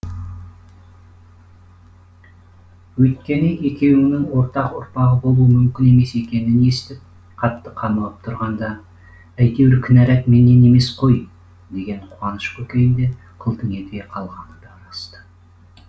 өйткені екеуінің ортақ ұрпағы болуы мүмкін емес екенін естіп қатты қамығып тұрғанында әйтеуір кінәрат менен емес қой деген қуаныш көкейінде қылтың ете қалғаны да рас ты